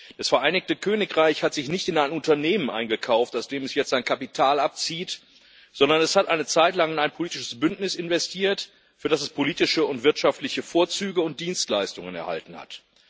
Das Vereinigte Königreich hat sich nicht in ein Unternehmen eingekauft, aus dem es jetzt sein Kapital abzieht, sondern es hat eine Zeit lang in ein politisches Bündnis investiert, für das es politische und wirtschaftliche Vorzüge und Dienstleistungen erhalten hat.